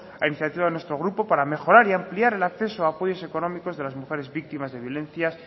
a iniciativa de nuestro grupo para mejorar y ampliar el acceso a apoyos económicos de las mujeres víctimas de violencias